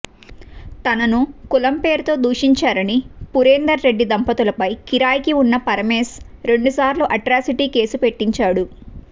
తనను కులం పేరుతో దూషించారని పురేందర్ రెడ్డి దంపతులపై కిరాయికి ఉన్న పరమేశ్ రెండు సార్లు అట్రాసిటీ కేసు పెట్టించాడు